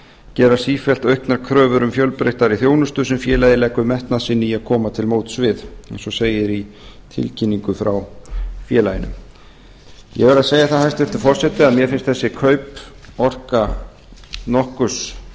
gera sífellt auknar kröfur um fjölbreyttari þjónustu sem félagið leggur metnað sinn í að koma til móts við eins og segir í tilkynningu frá félaginu ég verð að segja það hæstvirtur forseti að mér finnst þessi kaup orka nokkurs